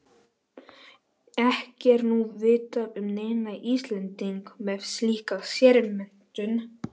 Ekki er nú vitað um neinn Íslending með slíka sérmenntun.